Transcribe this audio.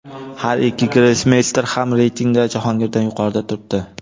Har ikki grossmeyster ham reytingda Jahongirdan yuqorida turibdi.